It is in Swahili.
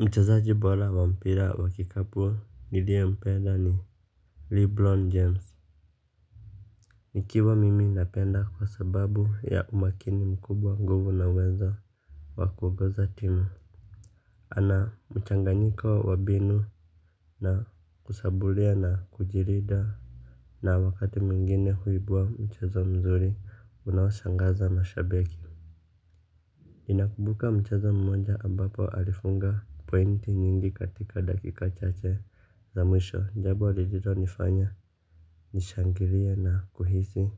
Mchezaji bora wa mpira wa kikapu niliyempeda ni lebron james. Nikiwa mimi napenda kwa sababu ya umakini mkubwa nguvu na uwezo wa kuongoza timu. Ana mchanganyika wa binu na kushabulia na kujirida. Na wakati mwingine huibua mchezo mzuri unaoshangaza mashabiki ninakubuka mchezo mmoja ambapo alifunga pointi nyingi katika dakika chache za mwisho jambo lililo nifanya nishangilie na kuhisi